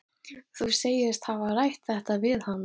Þóra Kristín Ásgeirsdóttir: Þú segist hafa rætt þetta við hana?